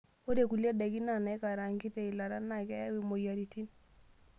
Ore nkulie daiki naikaraang'i te ilata na keyau imoyiaritin.